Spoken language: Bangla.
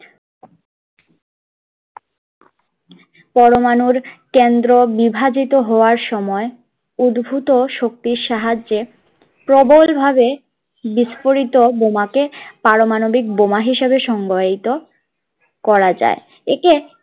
পরমাণুর কেন্দ্র বিভাজিত হওয়ার সময় উদ্ভূত শক্তির সাহায্যে প্রবলভাবে বিস্ফোরিত বোমাকে পারমাণবিক বোমা হিসেবে সংজ্ঞায়িত করা যায়